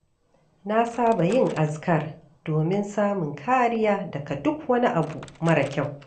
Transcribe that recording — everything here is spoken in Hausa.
Na saba yin azkar domin samun kariya daga duk wani abu mara kyau.